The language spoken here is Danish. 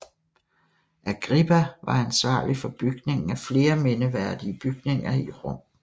Agrippa var ansvarlig for bygningen af flere mindeværdige bygninger i Rom